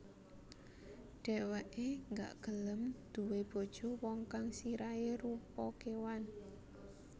Dheweke gak gelem duwé bojo wong kang sirahe rupa kewan